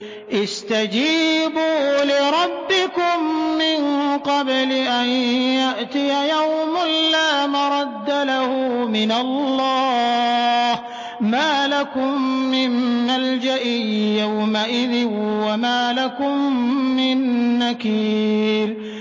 اسْتَجِيبُوا لِرَبِّكُم مِّن قَبْلِ أَن يَأْتِيَ يَوْمٌ لَّا مَرَدَّ لَهُ مِنَ اللَّهِ ۚ مَا لَكُم مِّن مَّلْجَإٍ يَوْمَئِذٍ وَمَا لَكُم مِّن نَّكِيرٍ